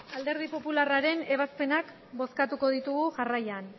alderdi popularraren ebazpenak bozkatuko ditugu jarraian